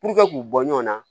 Puruke k'u bɔ ɲɔgɔn na